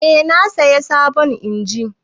Eh na sayi sabon injin.